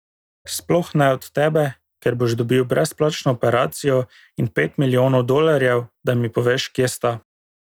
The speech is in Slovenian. Sploh ne od tebe, ker boš dobil brezplačno operacijo in pet milijonov dolarjev, da mi poveš, kje sta.